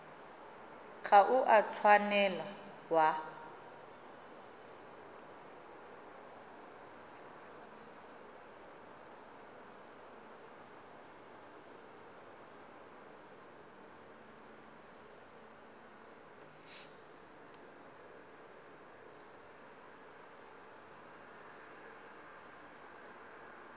ga o a tshwanela wa